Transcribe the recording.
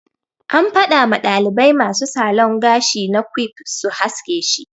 An fada ma dalibai masu salon gashi na quiff su haske shi.